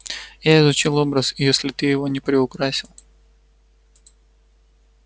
я изучил образ и если ты его не приукрасил